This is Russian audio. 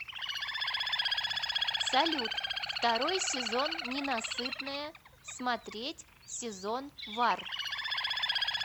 салют второй сезон ненасытная смотреть сезон вар